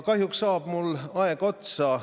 Kahjuks saab mul aeg otsa.